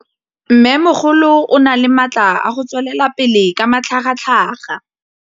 Mmêmogolo o na le matla a go tswelela pele ka matlhagatlhaga.